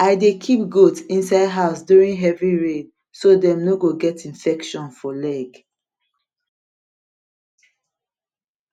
i dey keep goat inside house during heavy rain so dem no go get infection for leg